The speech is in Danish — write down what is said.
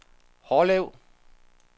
Hårlev